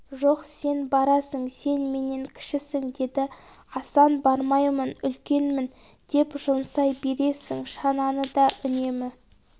жоқ сен барасың сен менен кішісің деді асан бармаймын үлкенмін деп жұмсай бересің шананы да үнемі